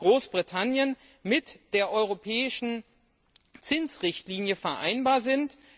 Großbritannien andererseits mit der europäischen Zinsrichtlinie vereinbar sind.